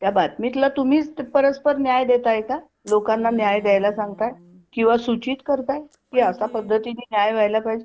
त्या बातमीतल तुम्हीच परस्पर न्याय देताय का? लोकांना न्याय द्यायला सांगताय किंवा सूचित करताय की अशा पद्धतीने न्याय व्हायला पाहिजे.